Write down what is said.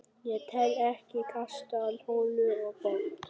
Ég tel ekki kastarholu og pott.